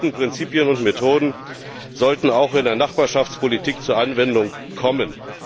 Diese bewährten Prinzipien und Methoden sollten auch in der Nachbarschaftspolitik zur Anwendung kommen.